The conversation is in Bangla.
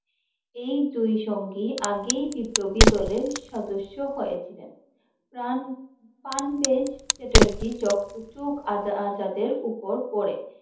ঐ দুই সঙ্গী আগেই বিপ্লবী দলের সদস্য হয়ে ছিলেন। চ্যাটার্জী আজাদের উপর পরে, ঐ দুই সঙ্গী আগে বিপ্লবী দলের সদস্য হয়ে ছিলেন।